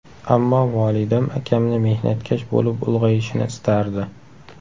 Ammo volidam akamni mehnatkash bo‘lib ulg‘ayishini istardi.